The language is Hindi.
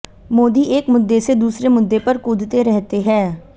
मोदी एक मुद्दे से दूसरे मुद्दे पर कूदते रहते हैं